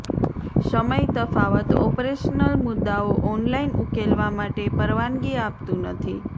સમય તફાવત ઓપરેશનલ મુદ્દાઓ ઓનલાઇન ઉકેલવા માટે પરવાનગી આપતું નથી